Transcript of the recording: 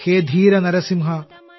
ഹേ ധീര നരസിംഹാ